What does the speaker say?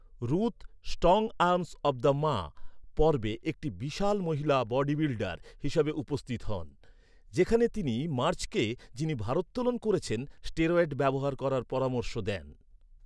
Ruth "strong arms of the Ma" পর্বে একটি বিশাল মহিলা বডি বিল্ডার হিসাবে উপস্থিত হন, যেখানে তিনি মার্জকে, যিনি ভারোত্তোলন করছেন, স্টেরয়েড ব্যবহার করার পরামর্শ দেন৷